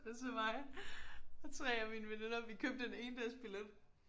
Og så mig og 3 af mine veninder vi købte en endagsbillet